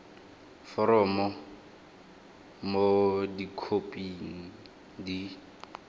foromo b mo dikhoping di